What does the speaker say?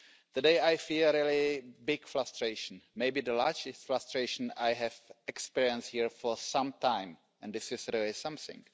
Today I feel great frustration, maybe the most frustration I have ever experienced here for some time, and this is really something.